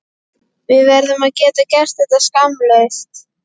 Við verðum að geta gert þetta skammlaust.